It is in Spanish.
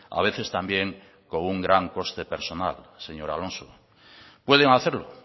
a veces también con un gran coste personal señor alonso pueden hacerlo